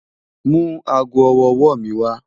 Mú àágọ́ ọwọ́-ọwọ́ mi wà.